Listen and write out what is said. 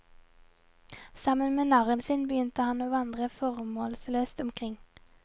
Sammen med narren sin begynner han å vandre formålsløst omkring.